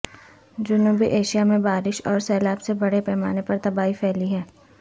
جنوبی ایشیا میں بارش اور سیلاب سے بڑے پیمانے پر تباہی پھیلی ہے